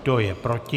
Kdo je proti?